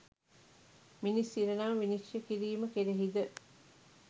මිනිස් ඉරණම විනිශ්චය කිරීම කෙරෙහි ද